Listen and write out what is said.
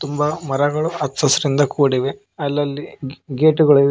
ತುಂಬಾ ಮರಗಳು ಅಚ್ಚ ಹಸಿರಿನಿಂದ ಕೂಡಿವೆ ಅಲ್ಲಲ್ಲಿ ಗೇ ಗೇಟುಗಳಿವೆ.